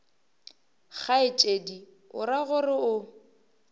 kgaetšedi o ra gore o